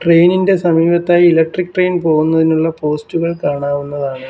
Train ഇൻ്റെ സമീപത്തായി electric train പോകുന്നതിനുള്ള പോസ്റ്റുകൾ കാണാവുന്നതാണ്.